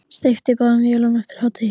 Steypt í báðum vélum eftir hádegi.